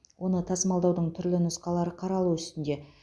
оны тасымалдаудың түрлі нұсқалары қаралу үстінде